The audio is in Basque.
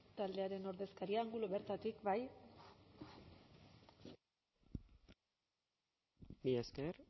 taldearen ordezkaria angulo bertatik bai mila esker